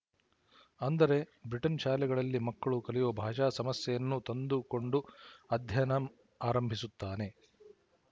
ಅಂದರೆ ಬ್ರಿಟನ್ ಶಾಲೆಗಳ್ಳಿ ಮಕ್ಕಳು ಕಲಿಯುವ ಭಾಷಾ ಸಮಸ್ಯೆಯನ್ನು ತಂದು ಕೊಂಡು ಅಧ್ಯಯನ ಆರಂಬಿಸುತ್ತಾನೆ